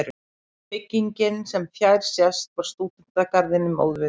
Byggingin, sem fjær sést, var stúdentagarðinum óviðkomandi.